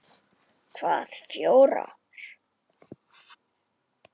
Hvaða fjórar?